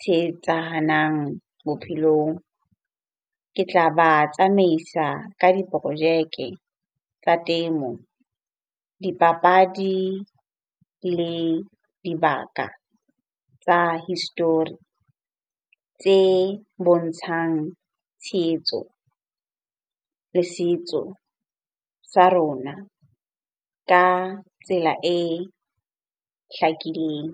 tshehetsahanang bophelong. Ke tla ba tsamaisa ka diporojeke tsa temo, dipapadi le dibaka tsa history tse bontshang tshehetso le setso sa rona ka tsela e hlakileng.